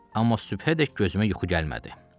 Amma sübhədək gözümə yuxu gəlmədi.